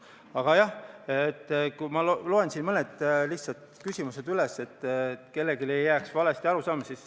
Aga jah, ma loen siis mõned lihtsad küsimused ette, et kellelgi ei jääks valet arusaamist.